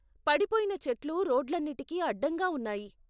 పడిపోయిన చెట్లు రోడ్లన్నిటికీ అడ్డంగా ఉన్నాయి.